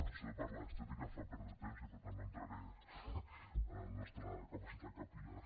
això de parlar d’estètica em fa perdre temps i per tant no entraré en la nostra capacitat capil·lar